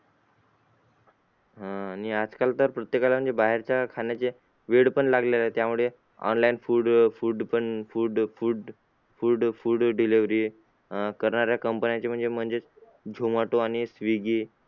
अह आणि आजकाल तर प्रत्येकाला म्हणजे बाहेरच्या खाण्याचे वेड पण लागलेला आहे त्यामुळे online food food food food food पण food delivery अह करणाऱ्या company चे म्हणजेच म्हणजेच zomato आणि swiggy